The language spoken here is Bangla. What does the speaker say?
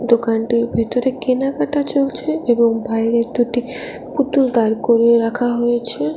দোকানটির ভেতরে কেনাকাটা চলছে এবং বাইরে দুটি পুতুল দাঁড় করিয়ে রাখা হয়েছে।